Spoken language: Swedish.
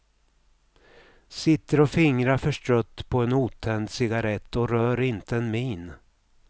Sitter och fingrar förstrött på en otänd cigarett och rör inte en min.